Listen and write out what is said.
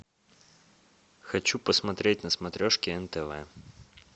хочу посмотреть на смотрешке нтв